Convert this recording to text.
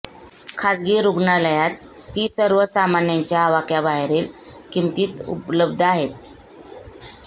खासगी रुग्णालयात ती सर्व सामान्यांच्या अवाक्याबाहेरील किंमतीत उपलब्ध आहे